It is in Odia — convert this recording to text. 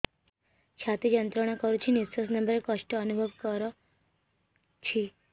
ଛାତି ଯନ୍ତ୍ରଣା କରୁଛି ନିଶ୍ୱାସ ନେବାରେ କଷ୍ଟ ଅନୁଭବ କରୁଛି